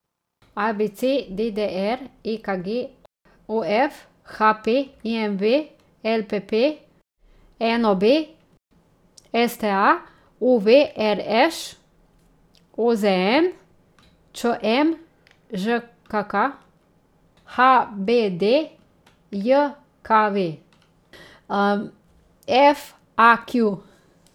A B C; D D R; E K G; O F; H P; I M V; L P P; N O B; S T A; U V; R Š; O Z N; Č M; Ž K K; H B D J K V; F A Q.